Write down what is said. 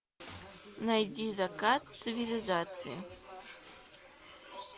найди закат цивилизации